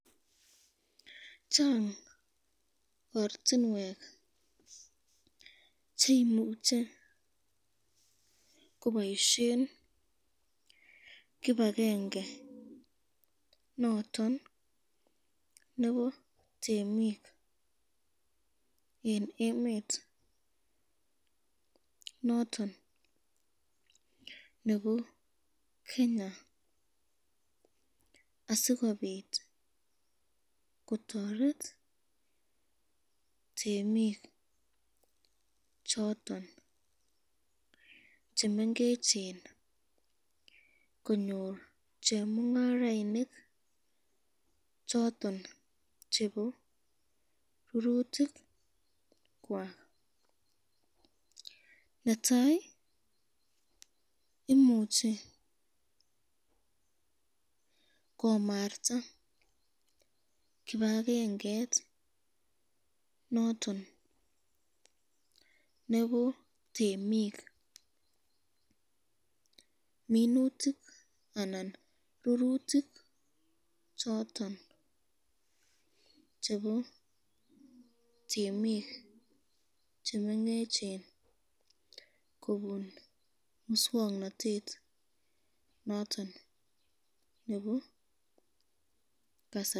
Chang ortinwek cheimuche koboisyen kipakenge noton nebo temik eng emet noton nebo Kenya asikobit kotoret temik choton chemengechen asikobit konyor chemungarainik choton chebo rurutikwak ,netai imuche komarta kipakenge noton nebo temik minutik anan rurutik choton chebo temik chemengechen kobun muswoknotet noton nebo kasari.